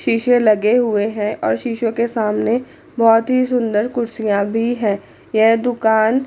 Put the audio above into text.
शीशे लगे हुए हैं और शीशों के सामने बहोत ही सुंदर कुर्सियां भी है यह दुकान--